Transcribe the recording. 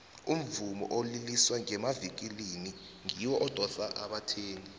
umvumo oliliswa ngenavikilini ngiwo odosa abathengi